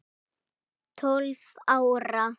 Tólf ára.